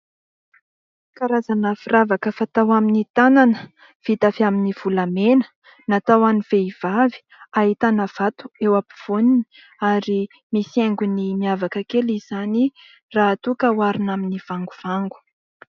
Karazana firavaka fatao amin'ny tanana, vita avy amin'ny volamena, natao ho an'ny vehivavy, ahitana vato eo am-povoany ary misy haingony miavaka kely izany raha toa ka oharina amin'ny vangovango.